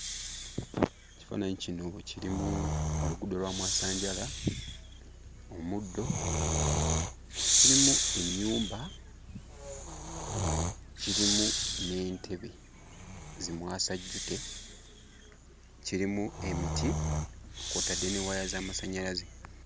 Ekifaananyi kino kirimu oluguudo lwa mwasanjala, omuddo, kirimu ennyumba, kirimu n'entebe zi mwasajjute. Kirimu emiti kw'otadde ne waya z'amasannyaze.